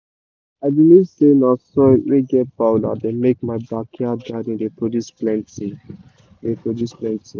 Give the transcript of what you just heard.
i believe say na soil wey get power dey make my backyard garden dey produce plenty. dey produce plenty.